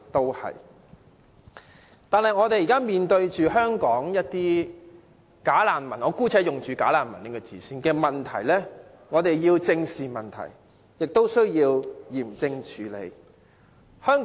然而，現時我們面對的"假難民"問題——我姑且用"假難民"一詞——我們要正視，也要嚴正處理。